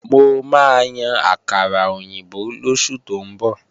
Mo máa yan àkàrà òyìnbó lóṣù tó ń bọ̀